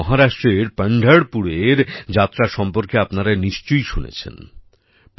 যেমন মহারাষ্ট্রের পনঢরপুরের পান্ধারপুর যাত্রা সম্পর্কে আপনারা নিশ্চয়ই শুনেছেন